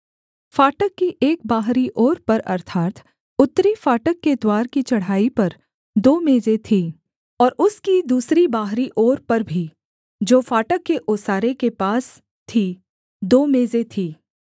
फाटक की एक बाहरी ओर पर अर्थात् उत्तरी फाटक के द्वार की चढ़ाई पर दो मेजें थीं और उसकी दूसरी बाहरी ओर पर भी जो फाटक के ओसारे के पास थी दो मेजें थीं